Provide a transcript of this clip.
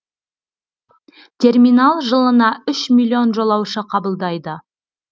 терминал жылына үш миллион жолаушы қабылдайды